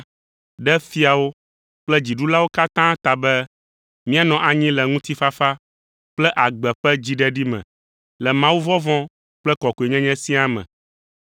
ɖe fiawo kple dziɖulawo katã ta be míanɔ anyi le ŋutifafa kple agbe ƒe dziɖeɖi me le mawuvɔvɔ̃ kple kɔkɔenyenye siaa me.